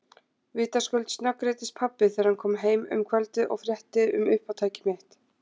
Vitaskuld snöggreiddist pabbi þegar hann kom heim um kvöldið og frétti um uppátæki mitt.